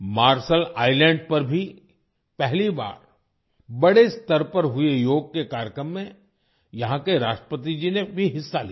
martial Islands पर भी पहली बार बड़े स्तर पर हुए योग दिवस के कार्यक्रम में यहाँ के राष्ट्रपति जी ने भी हिस्सा लिया